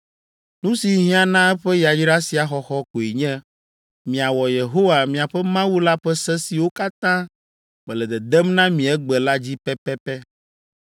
Nu si hiã na eƒe yayra sia xɔxɔ koe nye miawɔ Yehowa, miaƒe Mawu la ƒe se siwo katã mele dedem na mi egbe la dzi pɛpɛpɛ.